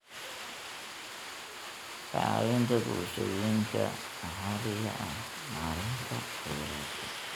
Ka caawinta bulshooyinka maxalliga ah maareynta kheyraadka.